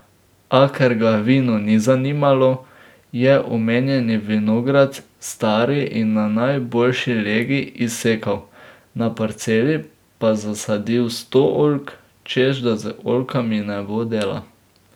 A ker ga vino ni zanimalo, je omenjeni vinograd, stari in na najboljši legi, izsekal, na parceli pa zasadil sto oljk, češ da z oljkami ne bo dela.